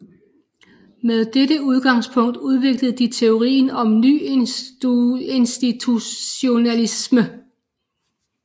Med dette udgangspunkt udviklede de teorien om nyinstitutionalismen